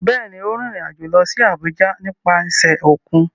Bẹ́ẹ̀ ni, ó rìnrìn-àjò lọ sí Àbújá nípasẹ̀ òkun.